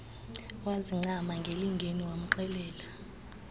wazincama ngelingeni wamxelela